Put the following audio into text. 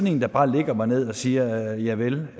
en der bare lægger mig ned og siger javel